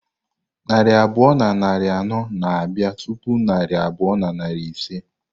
Narị abụọ na iri anọ na bia tupu narị abụọ na iri ise.